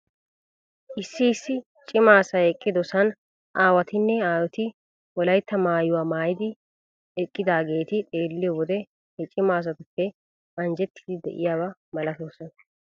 Issi issi cima asay eqqidosan aawatinne aayoti wolaytta maayuwaa maayidi qmeqqidaageeti xeelliyoo wode he cima asatuppe anjjettiidi de'iyaaba malatoosona .